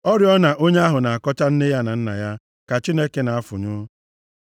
Oriọna onye ahụ na-akọcha nne ya na nna ya ka Chineke na-afụnyụ.